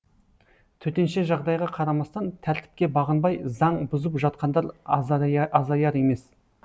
төтенше жағдайға қарамастан тәртіпке бағынбай заң бұзып жатқандар азаяр емес